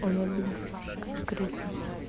он обиделся конкретно